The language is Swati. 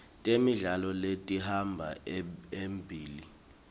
temidlalo letihamba embili